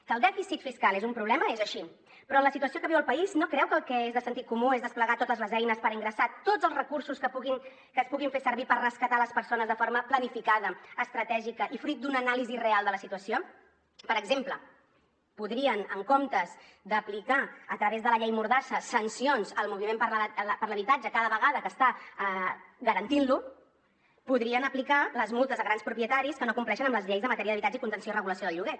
que el dèficit fiscal és un problema és així però en la situació que viu el país no creu que el que és de sentit comú és desplegar totes les eines per ingressar tots els recursos que es puguin fer servir per rescatar les persones de forma planificada estratègica i fruit d’una anàlisi real de la situació per exemple en comptes d’aplicar a través de la llei mordassa sancions al moviment per l’habitatge cada vegada que està garantint lo podrien aplicar les multes a grans propietaris que no compleixen amb les lleis en matèria d’habitatge i contenció i regulació del lloguer